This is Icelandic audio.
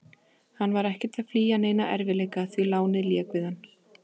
Hann var ekkert að flýja neina erfiðleika, því lánið lék við hann.